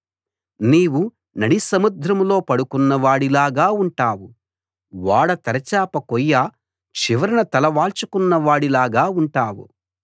నీవు నడిసముద్రంలో పడుకున్నవాడి లాగా ఉంటావు ఓడ తెరచాప కొయ్య చివరన తల వాల్చుకున్నవాడి లాగా ఉంటావు